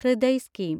Hriday scheme